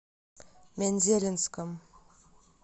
мензелинском